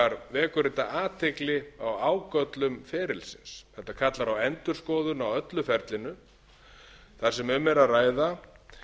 vekur þetta athygli á ágöllum ferilsins þetta kallar á endurskoðun á öllu ferlinu þar sem um er að ræða